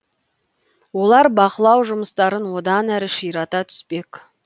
олар бақылау жұмыстарын одан әрі ширата түспек